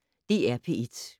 DR P1